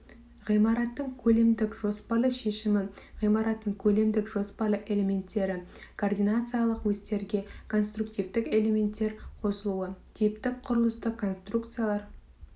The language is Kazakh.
ғимараттың көлемдік жоспарлы шешімі ғимараттың көлемдік жоспарлы элементтері координациялық осьтерге конструктивтік элементтер қосылуы типтік құрылыстық конструкциялар